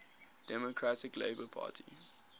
democratic labour party